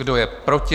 Kdo je proti?